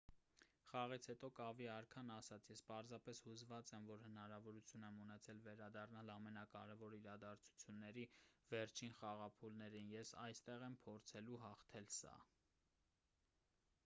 խաղից հետո կավի արքան ասաց․«ես պարզապես հուզված եմ որ հնարավորություն եմ ունեցել վերադառնալ ամենակարևոր իրադարձությունների վերջին խաղափուլերին։ ես այստեղ եմ՝ փորձելու հաղթել սա»։